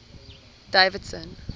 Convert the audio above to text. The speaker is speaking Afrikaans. davidson